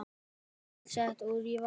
Salt sett út í vatn